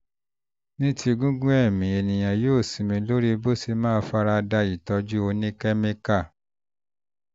ní ti gígùn ẹ̀mí èèyàn ó ó sinmi lórí bó ṣe máa fara da ìtọ́jú oníkẹ́míkà